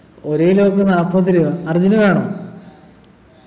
ഒരു kilo ത്തിനു നാൽപതു രൂപ അർജുന്‌ വേണോ